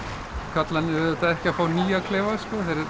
karlarnir eru ekki að fá nýja klefa